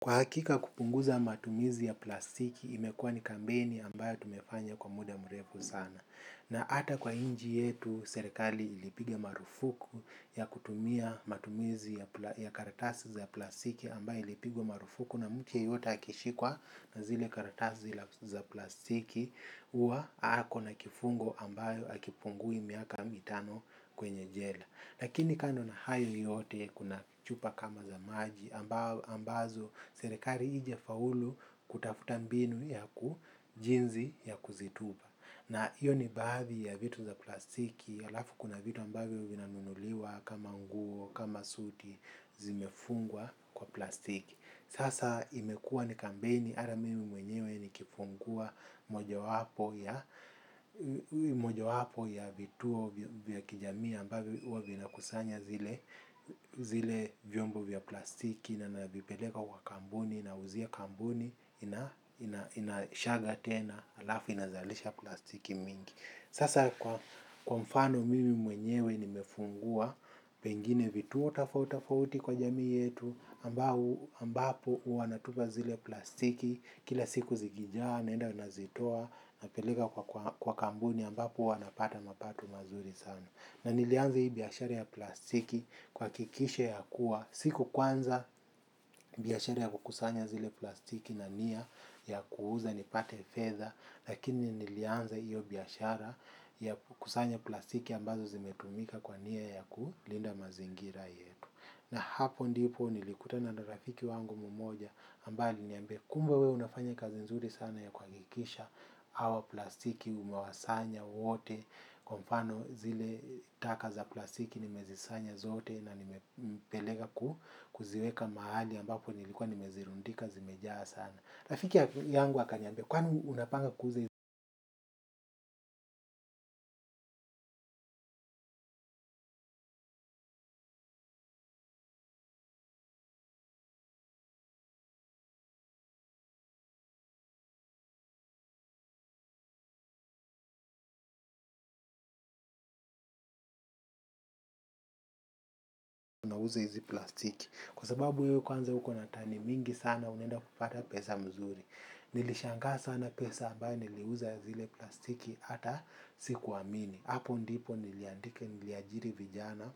Kwa hakika kupunguza matumizi ya plastiki, imekuwa ni kampeni ambayo tumefanya kwa muda mrefu sana. Na hata kwa nchi yetu, serekali ilipiga marufuku ya kutumia matumizi ya karatasi za plastiki ambayo ilipigwa marufuku na mtu yeyote akishikwa na zile karatasi za plastiki huwa ako na kifungo ambayo hakipungui miaka mitano kwenye jela. Lakini kando na hayo yote kuna chupa kama za maji ambazo serekari haija faulu kutafuta mbinu ya kujinsi ya kuzitupa. Na hiyo ni baadhi ya vitu za plastiki, alafu kuna vitu ambavyo vinanunuliwa kama nguo, kama suti, zimefungwa kwa plastiki. Sasa imekuwa ni kampeni hata mimi mwenyewe nikifungua mojo wapo ya vituo vya kijamii ambavyo huwa vinakusanya zile vyombo vya plastiki na navipeleka kwa kampuni nauzia kampuni inashaga tena alafu inazalisha plastiki mingi. Sasa kwa mfano mimi mwenyewe nimefungua, pengine vituo tofauti tofauti kwa jamii yetu, ambapo huwa natupa zile plastiki, kila siku zikijaa, naenda nazitoa, napeleka kwa kampuni ambapo huwa napata mapato mazuri sana. Na nilianza hii biashara ya plastiki kuhakikisha ya kuwa siku kwanza biashara ya kukusanya zile plastiki na nia ya kuuza nipate fedha lakini nilianza hiyo biashara ya kukusanya plastiki ambazo zimetumika kwa nia ya kulinda mazingira yetu. Na hapo ndipo nilikutana na rafiki wangu mmoja ambaye aliniambia kumbe wewe unafanya kazi nzuri sana ya kuhakikisha hawa plastiki umawasanya wote kwa mfano zile taka za plastiki nimezisanya zote na nimepeleka kuziweka mahali ambapo nilikuwa nimezirundika zimejaa sana. Rafiki yangu akaniambia kwani unapanga kuuza na uuze hizi plastiki. Kwa sababu wewe kwanza uko na tani mingi sana unaenda kupata pesa mzuri. Nilishangaa sana pesa ambayo niliuza zile plastiki hata sikuamini. Hapo ndipo niliandika niliajiri vijana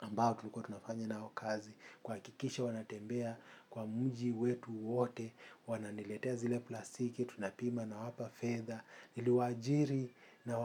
ambao tulikuwa tunafanya nao kazi. Kuhakikisha wanatembea kwa mji wetu wote. Wananiletea zile plastiki tunapima nawapa fedha. Niliwaajiri na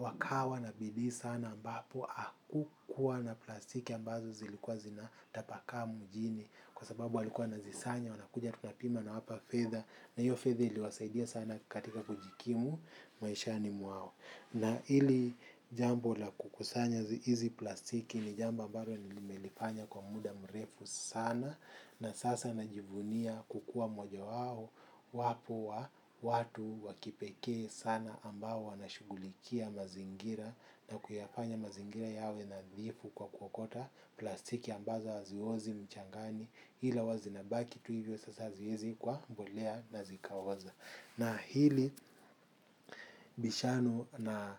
wakawa na bidii sana ambapo hakukuwa na plastiki ambazo zilikuwa zinatapakaa mjini. Kwa sababu walikuwa wanazisanya wanakuja tunapima nawapa fedha. Na hiyo fedha iliwasaidia sana katika kujikimu maishani mwao. Na ili jambo la kukusanya hizi plastiki ni jambo ambalo nilimelifanya kwa muda mrefu sana. Na sasa najivunia kukuwa moja wao wapo wa watu wa kipekee sana ambao wanashughulikia mazingira. Na kuyafanya mazingira yawe nadhifu kwa kuokota plastiki ambaza haziozi mchangani ila huwa zinabaki tu hivyo sasa haziwezi kuwa mbolea na zikaoza. Na hili bishano na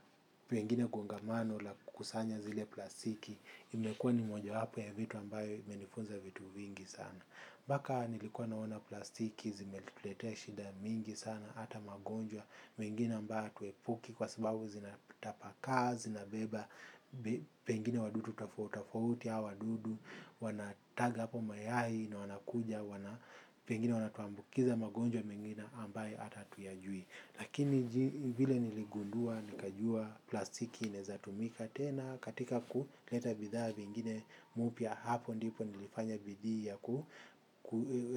pengine gongamano la kukusanya zile plastiki imekuwa ni moja wapo ya vitu ambayo imenifunza vitu vingi sana mpaka nilikuwa naona plastiki zimetuletea shida mingi sana. Hata magonjwa mengine ambayo hatuepuki kwa sababu zinatapakaa zinabeba pengine wadudu tofauti tofauti hawa wadudu wanataga hapo mayai na wanakuja. Pengine wanatuambukiza magonjwa mengine ambaye hata hatuyajui. Lakini vile niligundua nikajua plastiki inaeza tumika tena. Katika kuleta bidhaa vingine mpya hapo ndipo nilifanya bidii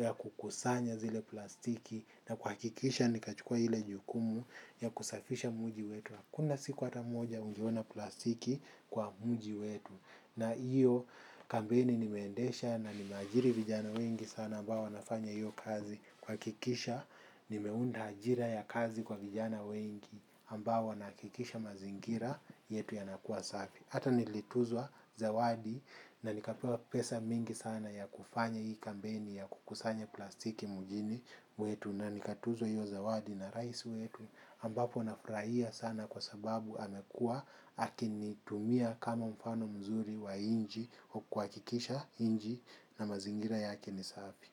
ya kukusanya zile plastiki. Na kuhakikisha nikachukua ile jukumu ya kusafisha mji wetu. Hakuna siku hata moja ungeona plastiki kwa mji wetu. Na hiyo kampeni nimeendesha na nimeajiri vijana wengi sana ambao wanafanya hiyo kazi kuhakikisha nimeunda ajira ya kazi kwa vijana wengi ambao wanahakikisha mazingira yetu yanakuwa safi. Hata nilituzwa zawadi na nikapewa pesa mingi sana ya kufanya hii kampeni ya kukusanya plastiki mjini wetu na nikatuzwa hiyo zawadi na rais wetu ambapo nafurahia sana kwa sababu amekuwa akinitumia kama mfano mzuri wa nchi kwa kuhakikisha nchi na mazingira yake ni safi.